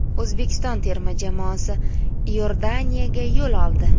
O‘zbekiston terma jamoasi Iordaniyaga yo‘l oldi.